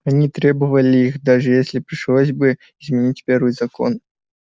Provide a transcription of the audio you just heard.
они требовали их даже если пришлось бы изменить первый закон